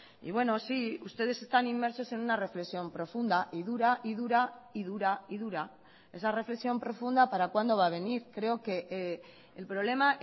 y bueno sí ustedes están inmersos en una reflexión profunda y dura y dura y dura y dura esa reflexión profunda para cuando va a venir creo que el problema